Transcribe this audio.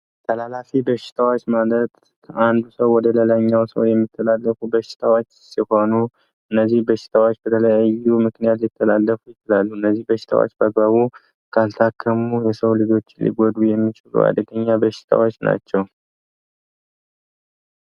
ተላላፊ በሽታዎች ማለት ከአንድ ሰው ወደላይኛው የምትላለፉ በሽታዎች ሲሆኑ እነዚህ በሽታዎች በተለያዩ ምክንያቱ እነዚህ በሽታዎች በሙሉ የሰው ልጆች ጉዱ የሚች በሽታዎች ናቸው